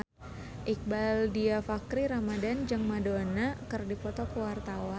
Iqbaal Dhiafakhri Ramadhan jeung Madonna keur dipoto ku wartawan